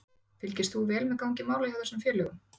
Fylgist þú vel með gangi mála hjá þessum félögum?